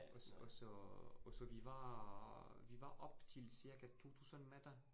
Og og så, og så vi var vi var op til cirka 2000 meter